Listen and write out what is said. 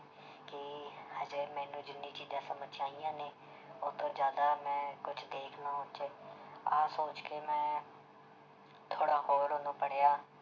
ਕਿ ਹਜੇ ਮੈਨੂੰ ਜਿੰਨੀ ਚੀਜ਼ਾਂ ਸਮਝ 'ਚ ਆਈਆਂ ਨੇ ਉਹ ਤੋਂ ਜ਼ਿਆਦਾ ਮੈਂ ਕੁਛ ਦੇਖ ਲਊ ਉਹ 'ਚ ਆਹ ਸੋਚ ਕੇ ਮੈਂ ਥੋੜ੍ਹਾ ਹੋਰ ਉਹਨੂੰ ਪੜ੍ਹਿਆ